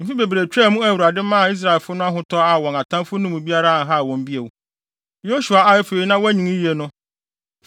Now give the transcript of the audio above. Mfe bebree twaa mu a Awurade maa Israelfo no ahotɔ a wɔn atamfo no mu biara anhaw wɔn bio. Yosua a afei na wanyin yiye no